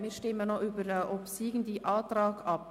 Wir stimmen noch über den obsiegenden Antrag ab.